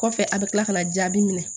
Kɔfɛ a bɛ kila ka na jaabi minɛ